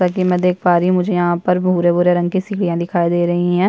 जैसा की मै देख पा रही हूँ मुझे यहाँ पर भूरे-भूरे रंग की सीढ़िया दिखाई दे रही है।